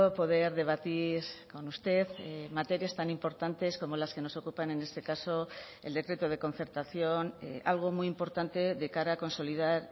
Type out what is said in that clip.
poder debatir con usted materias tan importantes como las que nos ocupan en este caso el decreto de concertación algo muy importante de cara a consolidar